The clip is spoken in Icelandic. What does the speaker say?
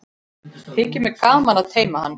Þykir gaman að teyma hann.